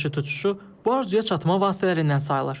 Paraşüt uçuşu bu arzuya çatma vasitələrindən sayılır.